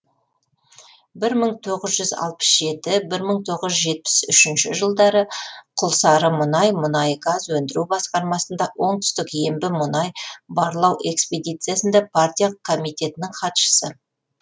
бір мың тоғыз жүз алпыс жеті мың тоғыз жүз жетпіс үшінш жылдары құлсарымұнай мұнай газ өндіру басқармасында оңтүстік ембі мұнай барлауэкспедициясында партия комитетінің хатшысы